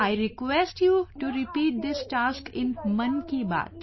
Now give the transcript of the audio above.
I request you to repeat this task in Mann Ki Baat